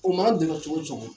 U man cogo cogo